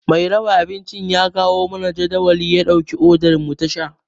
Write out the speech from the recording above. Mai raba abincin ya kawo mana jadawalin ya ɗauki odar mu ta sha.